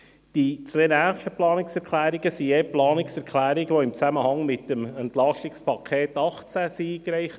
Die nächsten zwei Planungserklärungen wurden im Zusammenhang mit dem Entlastungspaket 2018 (EP 18) eingereicht.